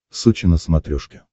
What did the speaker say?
сочи на смотрешке